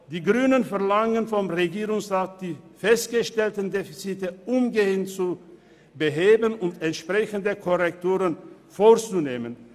Die Grünen verlangen vom Regierungsrat, die festgestellten Defizite umgehend zu beheben und entsprechende Korrekturen vorzunehmen.